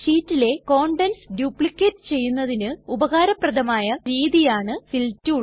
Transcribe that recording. ഷീറ്റിലെ contents duplicate ചെയ്യുന്നതിന് ഉപകാരപ്രദമായ രീതിയാണ് ഫിൽ ടൂൾ